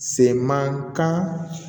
Se man kan